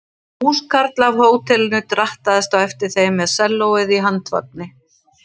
Húskarl af hótelinu drattaðist á eftir þeim með sellóið á handvagni.